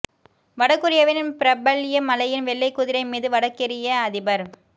வட கெரியாவின் பிரபல்ய மலையில் வெள்ளை குதிரை மீது வடகெரிய அதிபர்